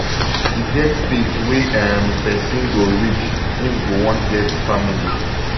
e get di stage wey um person go reach im go wan get family